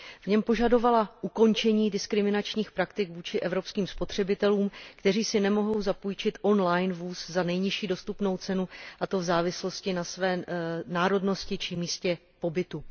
V něm požadovala ukončení diskriminačních praktik vůči evropským spotřebitelům, kteří si nemohou zapůjčit on line vůz za nejnižší dostupnou cenu, a to v závislosti na své národnosti či místě pobytu.